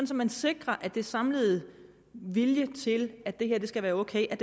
så man sikrer at den samlede vilje til at det her skal være ok